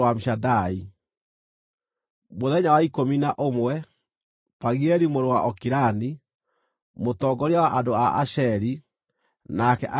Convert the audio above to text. Mũthenya wa ikũmi na ũmwe, Pagieli mũrũ wa Okirani, mũtongoria wa andũ a Asheri, nake akĩrehe maruta make.